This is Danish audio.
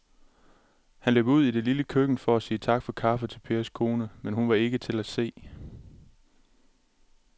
Han løb ud i det lille køkken for at sige tak for kaffe til Pers kone, men hun var ikke til at se.